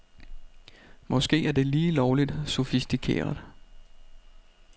Måske er det lige lovligt sofistikeret.